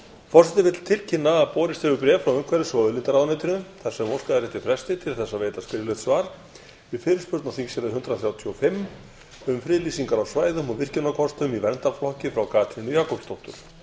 forseti vill tilkynna að borist hefur bréf frá umhverfis og auðlindaráðuneytinu þar sem óskað er eftir fresti til að veita skriflegt svar við fyrirspurn á þingskjali hundrað þrjátíu og fimm um friðlýsingar á svæðum og virkjunarkostum í verndarflokki frá katrínu jakobsdóttur